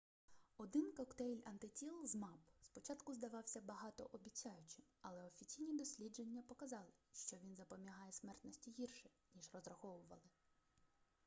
один коктейль антитіл змапп спочатку здавався багатообіцяючим але офіційні дослідження показали що він запобігає смертності гірше ніж розраховували